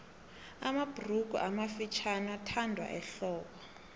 mabhurugu amafutjhaniathandwa ehlobo